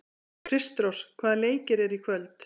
Kristrós, hvaða leikir eru í kvöld?